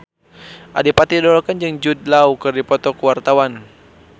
Adipati Dolken jeung Jude Law keur dipoto ku wartawan